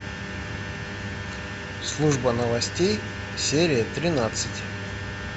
служба новостей серия тринадцать